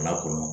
Lakɔnɔ